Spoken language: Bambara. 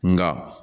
Nka